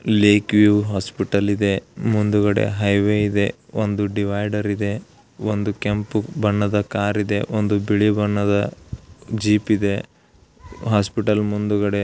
ಲೆಕ್ view hospital ಇದೆ divider ಇದೆ red car ಇದೆ